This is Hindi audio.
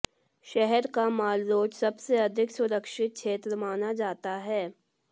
शहर का मालरोड सबसे अधिक सुरक्षित क्षेत्र माना जाता है